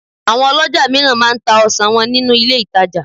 àwọn olójà òmíràn ma m ta ọsàn wọn ninu ilé ìtajà